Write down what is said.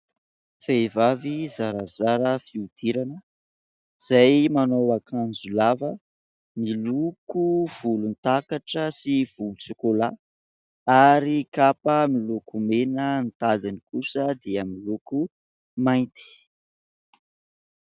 Vehivavy zarazara fihodirana, izay manao akanjo lava miloko volontakatra sy volontsôkôla ; ary kapa miloko mena, ny tadiny kosa dia miloko mainty.